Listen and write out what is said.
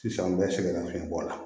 Sisan an bɛ sɛgɛn nafiyɛnbɔ la